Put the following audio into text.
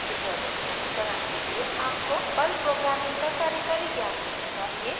इस ट्यूटोरियल के अनुसरण के लिए आपको पर्ल प्रोग्रामिंग का कार्यकारी ज्ञान होना चाहिए